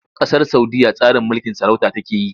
Ƙasar Saudiyya tsarin mulkin sarauta take yi.